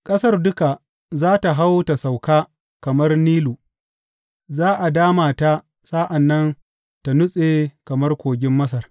Ƙasar duka za tă hau ta sauka kamar Nilu; za a dama ta sa’an nan ta nutse kamar kogin Masar.